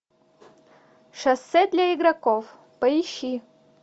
шоссе для игроков поищи